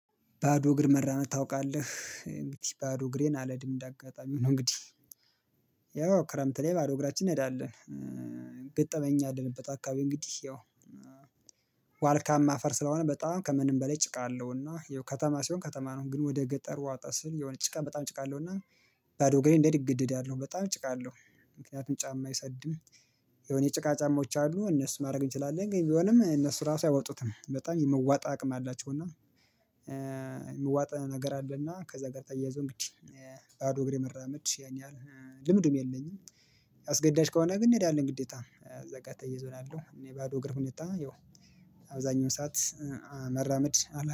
ባዶ እግር መራመድ ታውቃለህ? እንግዲህ ባዶ እግሬን አልሄድም እንደ አጋጣሚ ነው እንግዲህ ያው ክረምት ላይ ባዶ እግራችን እንሄዳለን ገጠመኝ እኛ ያለንበት አካባቢ እንግዲህ ያው ዋልካማ አፈር ስለሆነ በጣም ከምንም በላይ ጭቃ አለው እና ያው ከተማ ሲሆን ከተማ ነው ግን ወደ ገጠር ወጣ ሲል የሆነ ጭቃ በጣም ጭቃ አለው እና ባዶ እግሬን እንድሄድ እገደዳለሁ። በጣም ጭቃ አለው። ምክንያቱም ጫማ አይሰድም የሆነ የጭቃ ጫማዎች አሉ እነሱን ማድረግ እንችላለን ግን ቢሆንም እነሱ ራሱ አይወጡትም በጣም የመዋጥ አቅም አላቸው እና የመዋጥ ነገር አለና ከዛ ጋር ተያይዞ እንግዲህ አዶ እግሬ መራመድ ያን ያህል ልምድም የለኝም። አስገዳጅ ከሆነ ግን እንሄዳለን ግዴታ እዛ ጋር ተያይዞ ነው ያለው። እኔ ባዶ እግር ሁኔታ ያው አብዛኛውን ሰዓት መራመድ